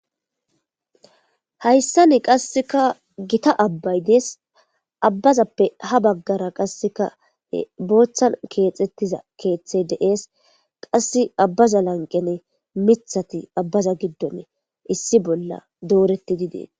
Hayssa ne qasseka gita abbay dees abbazappe ha baggara qasseka booththan keexettiza keexthe dees qasse abbaza lanqene mithati abbaza giddonne issi bolla dooretti didees.